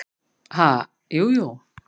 """Ha, jú, jú"""